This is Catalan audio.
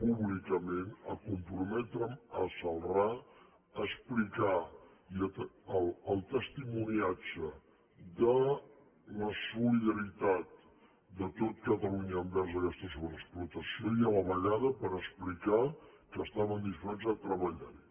pública·ment a comprometre’m a celrà a explicar el testimo·niatge de la solidaritat de tot catalunya envers aquesta sobreexplotació i a la vegada per explicar que estàvem disposats de treballar·hi